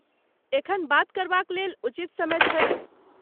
एखन बात करबाक लेल उचित समय छैक ?